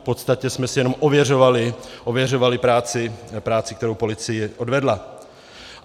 V podstatě jsme si jenom ověřovali práci, kterou policie odvedla.